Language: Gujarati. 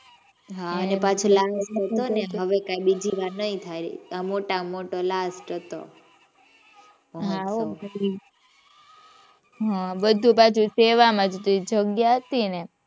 હવે કઈ બીજી વાર નહીં થાય. મોટામાં મોટો last હતો. હાં હો બધુ પાછું સેવામાં જ હતું જે જગ્યા હતી ને એ